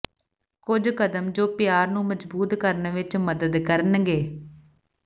ਕੁਝ ਕਦਮ ਜੋ ਪਿਆਰ ਨੂੰ ਮਜ਼ਬੂਤ ਕਰਨ ਵਿਚ ਮਦਦ ਕਰਨਗੇ